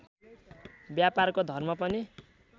व्यापारको धर्म पनि